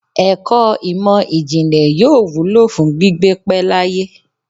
Ẹ̀kọ́ ìmò ìjìnlẹ̀ yóò wúlò fún gbígbé pẹ́ láyé.